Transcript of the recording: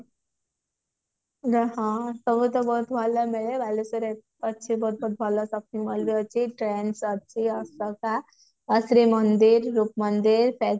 ହଁ ସବୁତ ବହୁତ ଭଲ ମିଳେ ବାଲେଶ୍ଵର ଅଛି ଗୋଟେ ଭଲ shopping mall ବି ଅଛି trends ଅଛି ଅଶୋକା ଆଉ ଶ୍ରୀମନ୍ଦିର ରୂପମନ୍ଦିର